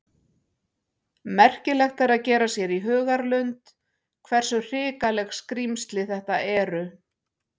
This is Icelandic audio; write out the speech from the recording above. Merkilegt er að gera sér í hugarlund hversu hrikaleg skrímsli þetta eru.